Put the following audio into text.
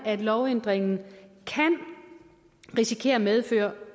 at lovændringen kan risikere at medføre